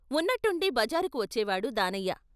ఉన్నట్టుండి బజారుకు వచ్చేవాడు దానయ్య.